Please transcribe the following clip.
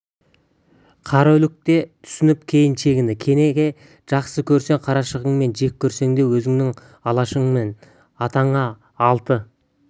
қараүлек те түсініп кейін шегінді кенеке жақсы көрсең қарашығыңмын жек көрсең де өзіңнің алашыңмын атаңа алты